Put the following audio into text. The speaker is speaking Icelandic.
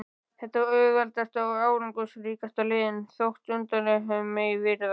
Það er auðveldasta og árangursríkasta leiðin, þótt undarlegt megi virðast.